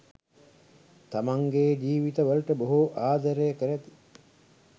තමන්ගේ ජීවිතවලට බොහෝ ආදරය කරති.